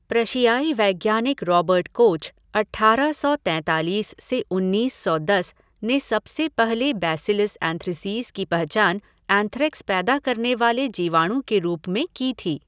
प्रशियाई वैज्ञानिक Robert Koch, अट्ठारह सौ तैंतालीस से उन्नीस सौ दस, ने सबसे पहले बैसिलस एंथ्रेसीस की पहचान एंथ्रेक्स पैदा करने वाले जीवाणु के रूप में की थी।